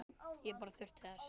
Ég bara þurfti þess.